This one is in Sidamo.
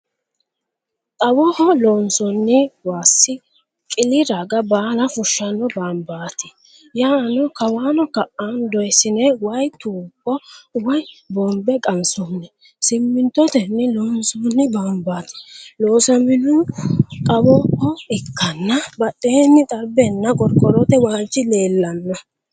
Xawoho loonsoonni was qlraga baala fishshanno baambaati. Yaano kawNo ka"aano dooyissine wayo tibbo woyi boombe qansoonni. Simmintotenni loonsoonni baambaati. Loosammohuno xawoho ikkanna badheenni xarbenna qorqorrote waalchi leellanno.